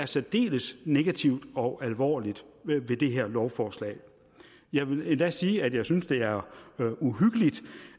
særdeles negativt og alvorligt ved det her lovforslag jeg vil endda sige at jeg synes det er uhyggeligt